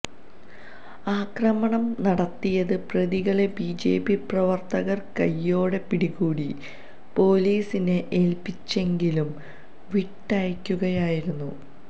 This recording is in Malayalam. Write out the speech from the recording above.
ആക്രമണം നടത്തിയത് പ്രതികളെ ബിജെപി പ്രവര്ത്തകര് കയ്യോടെ പിടികൂടി പോലിസിനെ ഏല്പ്പിച്ചെങ്കിലും വിട്ടയയ്ക്കുകയായിരുന്നു